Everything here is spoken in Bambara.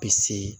Bi seegin